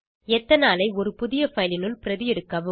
எத்தனாலை ஒரு புதிய பைல் னுள் பிரதி எடுக்கவும்